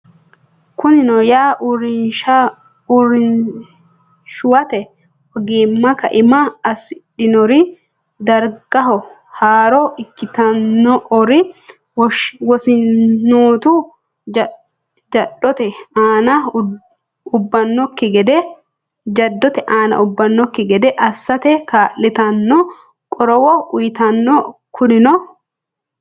Kunino yaa, uurrinshuwate ogimma kaima assidhinore, dargaho haaro ikkitin- ore wosinootu jaddote aana ubbannokki gede assate kaa’litanno qorowo uyitanno Kunino.